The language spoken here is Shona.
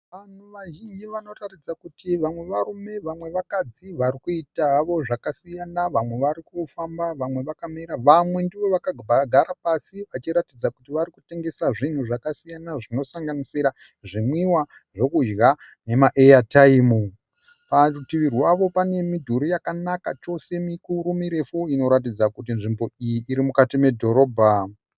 Vanhu vazhinji vanoratidza kuti vamwe varume vamwe vakadzi vari kuita havo zvakasiyana. Vamwe vari kufamba, vamwe vakamira, vamwe ndivo vakagara pasi vachiratidza kuti vari kutengesa zvinhu zvakasiyana zvinosanganisira zvinwiwa, zvokudya nemaeyataimu. Parutivi rwavo pane midhuri yakanaka chose mikuru mirefu inoratidza kuti nzvimbo iyi iri mukati medhorobha.